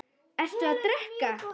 Ertu að drekka?